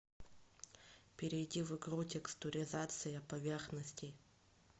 перейди в игру текстуризация поверхностей